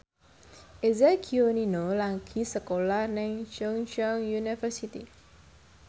Eza Gionino lagi sekolah nang Chungceong University